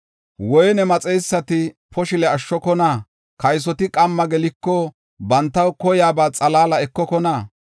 Woyne maxeysati poshile ashshokona? Kaysoti qamma geliko, bantaw koyaba xalaala ekokona?